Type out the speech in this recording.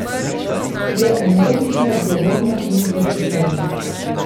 Je energična, zgovorna in vročekrvna.